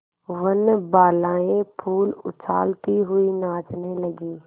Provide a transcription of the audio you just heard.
वनबालाएँ फूल उछालती हुई नाचने लगी